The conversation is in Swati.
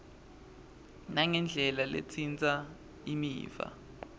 nangendlela letsintsa imiva